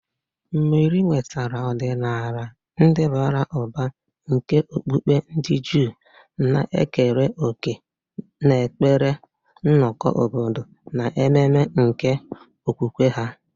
Meri nwetara ọdịnala ndị bara ụba nke okpukpe ndị Juu, na-ekere òkè n'ekpere, nnọkọ obodo, na ememe nke okwukwe ha.